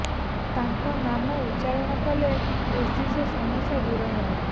ତାଙ୍କ ନାମ ଉଚ୍ଚାରଣ କଲେ ଏହିସ ସମସ୍ୟା ଦୂର ହେବ